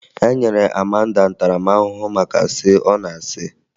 E nyere Amanda ntaramaahụhụ maka asị ọ na-asị